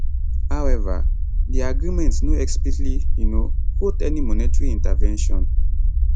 however di agreement no explicitly um quote any monetary intervention